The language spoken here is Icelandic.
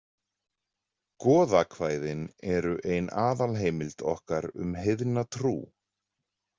Goðakvæðin eru ein aðalheimild okkar um heiðna trú.